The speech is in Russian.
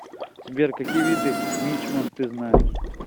сбер какие виды мичман ты знаешь